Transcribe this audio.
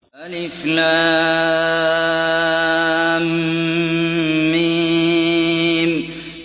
الم